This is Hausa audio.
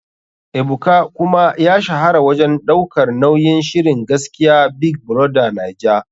Ebuka kuma ya shahara wajen daukar nauyin shirin gaskiya big brother naija.